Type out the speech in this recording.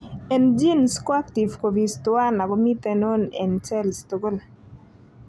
En genes ko active copies tuan ago miten on en cells tugul.